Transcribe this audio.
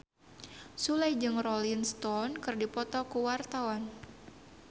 Sule jeung Rolling Stone keur dipoto ku wartawan